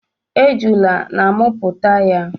Ejula na amụpụta ya.